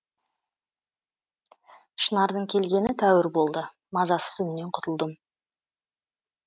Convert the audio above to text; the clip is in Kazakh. шынардың келгені тәуір болды мазасыз үннен құтылдым